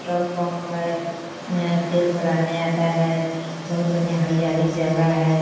petrol pump है तेल भरा ने आता है और बढ़िया हरियाली जगह है |